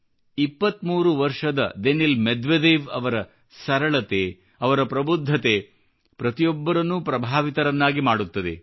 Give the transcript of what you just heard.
23 ವರ್ಷದ Daniil Medvedev ಅವರ ಸರಳತೆ ಅವರ ಪ್ರಬುದ್ಧತೆ ಪ್ರತಿಯೊಬ್ಬರನ್ನೂ ಪ್ರಭಾವಿತರನ್ನಾಗಿ ಮಾಡುತ್ತದೆ